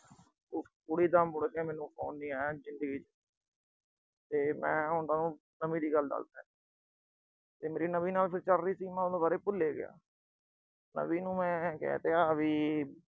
ਕੁੜੀ ਦਾ ਮੁੜ ਕੇ ਮੈਨੂੰ phone ਨੀ ਆਇਆ ਜ਼ਿੰਦਗੀ ਚ। ਤੇ ਮੈਂ ਉਹਨਾਂ ਨੂੰ ਸਮੇਂ ਦੀ ਗੱਲ ਦੱਸਦਾ। ਤੇ ਮੇਰੀ ਨਵੀਂ ਨਾਲ ਚਲ ਰਹੀ ਸੀ, ਤੇ ਮੈਂ ਉਹਦੇ ਬਾਰੇ ਭੁੱਲ ਈ ਗਿਆ। ਤਾਂ ਵੀ ਮੈਂ ਉਹਨੂੰ ਕਹਿ ਤਿਆ ਵੀ